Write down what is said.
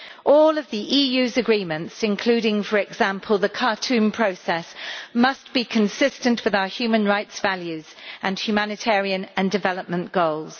All of the EU's agreements, including, for example, the Khartoum Process, must be consistent with our human rights values and humanitarian and development goals.